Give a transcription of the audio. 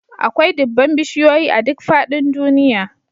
Akwai dubban bishiyoyi a duk faɗin duniya